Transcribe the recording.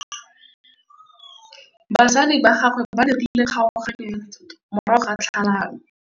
Batsadi ba gagwe ba dirile kgaoganyô ya dithoto morago ga tlhalanô.